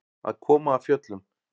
Að koma af fjöllum